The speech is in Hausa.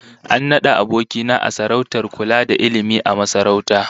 An nada aboki na sarautar kula da ilmi a masarauta